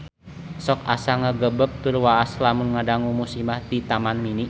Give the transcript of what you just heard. Sok asa ngagebeg tur waas lamun ngadangu musibah di Taman Mini